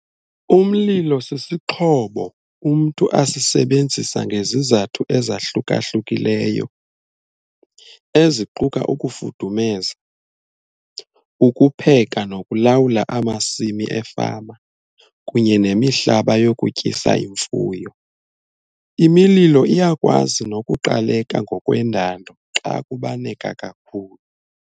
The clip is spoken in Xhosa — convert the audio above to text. Umlilo "sisixhobo" umntu asisebenzisa ngezizathu ezahluka-hlukileyo eziquka ukufudumeza, ukupheka nokulawula amasimi efama kunye nemihlaba yokutyisa imfuyo. Imililo iyakwazi nokuqaleka ngokwendalo xa kubaneka kakhulu."